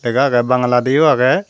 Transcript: lega aage bangala di o aage.